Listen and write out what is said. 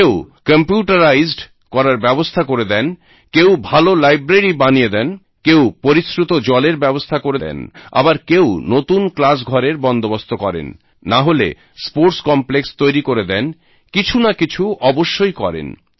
কেউ কম্পিউটারাইজড করার ব্যবস্থা করে দেন কেউ ভালো লাইব্রেরি বানিয়ে দেন কেউ পরিশ্রুত জলের ব্যবস্থা করে দেন আবার কেউ নতুন ক্লাসঘরের বন্দোবস্ত করেন নাহলে স্পোর্টস কমপ্লেক্স তৈরী করে দেন কিছু না কিছু অবশ্যই করেন